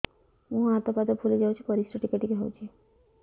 ମୁହଁ ହାତ ପାଦ ଫୁଲି ଯାଉଛି ପରିସ୍ରା ଟିକେ ଟିକେ ହଉଛି